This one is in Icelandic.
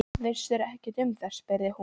Vissirðu ekkert um það? spurði hún.